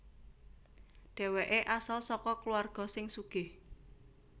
Dhèwèké asal saka kulawarga sing sugih